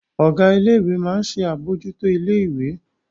Ọ̀gá ilé ìwé máa ń ṣe àbójútó ilé ìwé